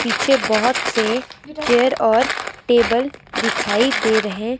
पीछे बहुत से चेयर और टेबल दिखाई दे रहे--